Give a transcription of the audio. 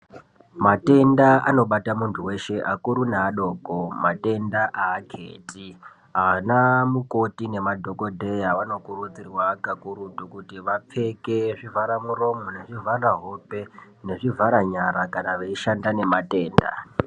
Matenda anobata muntu weshe akuru neadoko, matenda aketi, anamukoti nemadhokdheya vanokurudzirwa kakurutu kuti vapfeke zvivhara muromo, nezvivhara hope, nezvivhara nyara kana veishanda nematenda.